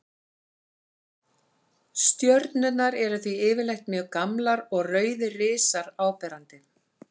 Stjörnurnar eru því yfirleitt mjög gamlar og rauðir risar áberandi.